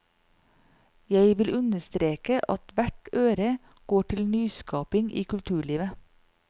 Jeg vil understreke at hvert øre går til nyskapning i kulturlivet.